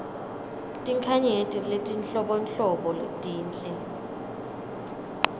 tinkhanyeti letinhlobonhlobo tinhle